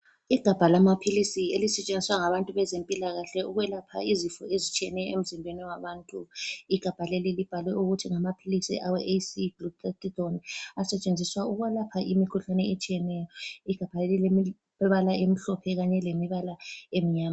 Igabha lamaphilisi elisetshenziswa ngabantu bezempilakahle ukwelapha izifo ezitshiyeneyo emzimbeni wabantu. Igabha leli libhalwe ukuthi ngamaphilisi awe AC- GLUTHATHIONE asetshenziswa ukwelapha imikhuhlane etshiyeneyo. Igabha leli lilemibala emhlophe kanye lemibala emnyama.